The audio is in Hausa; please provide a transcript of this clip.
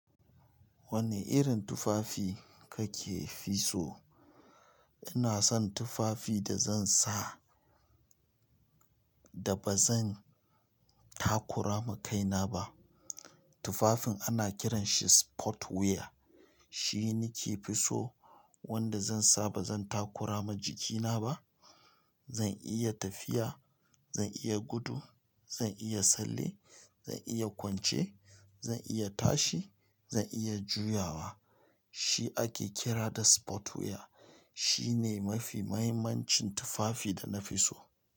Wane irin tufafi kake fi so? Ina son tufafi da zan sa da ba zan takura ma kaina ba. Tufafin ana kiranshi sport wear. Shi nake fi so wanda zan sa ba zan takura ma jikina ba. Zan iya tafiya, zan iya gudu, zan iya tsalle, zan iya kwance, zan iya tashi, zan iya juyawa. Shi ake kira da sport wear. Shi ne mafi muhimmancin tufafi da na fi so.